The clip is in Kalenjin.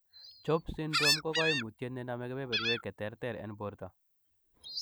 CHOPS syndrome ko koimutiet nenome keberberwek cheterter en borto.